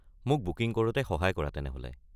মোক বুকিং কৰোঁতে সহায় কৰা তেনেহ’লে।